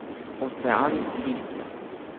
Ocean listja.